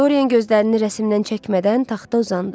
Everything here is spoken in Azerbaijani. Doryan gözlərini rəsmdən çəkmədən taxta uzandı.